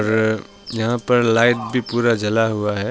और यहां पर लाइट भी पूरा जला हुआ है।